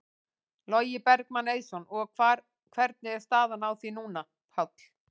Logi Bergmann Eiðsson: Og hvar, hvernig er staðan á því núna, Páll?